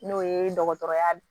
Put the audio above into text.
N'o ye dɔgɔtɔrɔya